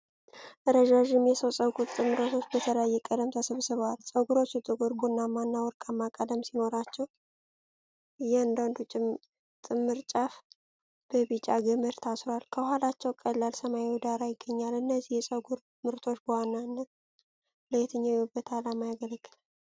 ረጃጅም የሰው ፀጉር ጥምሮች በተለያየ ቀለም ተሰብስበዋል። ፀጉሮቹ ጥቁር፣ ቡናማ እና ወርቃማ ቀለም ሲኖራቸው፣ የእያንዳንዱ ጥምር ጫፍ በቢጫ ገመድ ታስሯል። ከኋላቸው ቀላል ሰማያዊ ዳራ ይገኛል። እነዚህ የፀጉር ምርቶች በዋናነት ለየትኛው የውበት ዓላማ ያገለግላሉ?